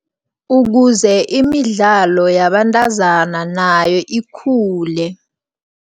Ukuze imidlalo yabantazana nayo ikhule.